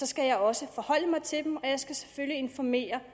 skal jeg også forholde mig til dem og jeg skal selvfølgelig informere